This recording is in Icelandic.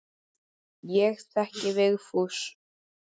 Ég þekki Vigfús.